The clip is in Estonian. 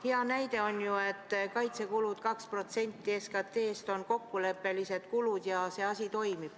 Hea näide on see, et kaitsekulud 2% SKT-st on kokkuleppelised kulud ja asi toimib.